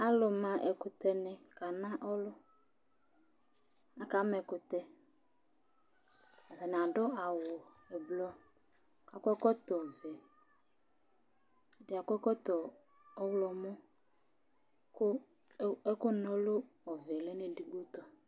Alʋma ɛkʋtɛnɩ kana ɔlʋ Akama ɛkʋtɛ Atanɩ adʋ awʋ ʋblʋ kʋ akɔ ɛkɔtɔvɛ Ɛdɩ akɔ ɛkɔtɔ ɔɣlɔmɔ kʋ ɛkʋna ɔlʋ ɔvɛ lɛ nʋ edigbo tʋ